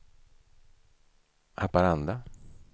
Haparanda